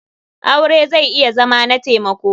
Aure zai iya Zama na taimako.